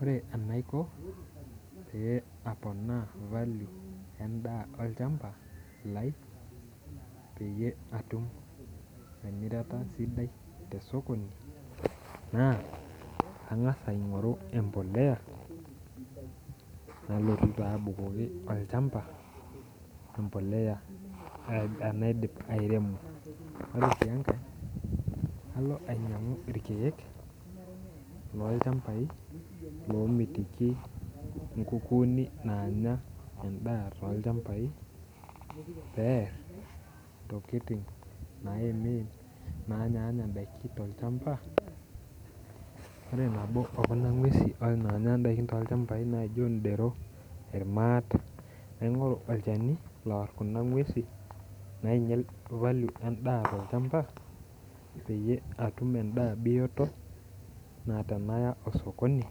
Ore enaiko pee aaponaa valio endaa ilchamba lai pee atum emirata sidai te sokoni naa kang'as apik embolea nalotu abukoki embolea tenaidip airemo, ore sii enkae kalo ainyang'u irkeek loo lchambai loo mitiki nkukuni naanya endaa too lchambai peer ntokitin naanya ndaiki to lchamba ore nabo ekuna kukuni naa indero, irmaata naaing'uraki olchani ooar pee tenaya endaa sokoni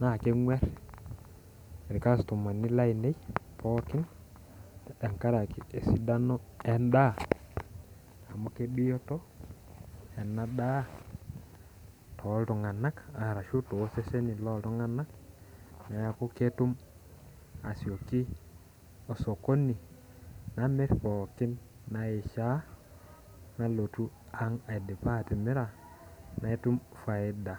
naa endaa nanyorr pooki ngae ninyanguni amu endaa bioto naakeeta faida ore tepaaidip atimira natum ang natum faida.